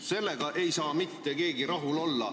Sellega ei saa mitte keegi rahul olla.